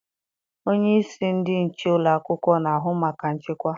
Onyeisi ndị nche ụlọakwụkwọ na-ahụ maka nchekwa